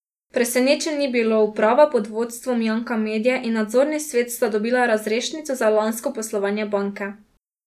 Presenečenj ni bilo, uprava pod vodstvom Janka Medje in nadzorni svet sta dobila razrešnico za lansko poslovanje banke.